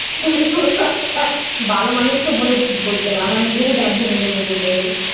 ওহ আচ্ছা। ভালো মানুষকে বলতে হবে। আমার নিজেরই বাঁধবে ওভাবে বলতে গেলে।